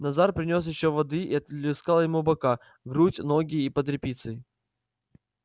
назар принёс ещё воды и оплескал ему бока грудь ноги и под репицей